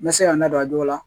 N bɛ se ka n da don a dɔw la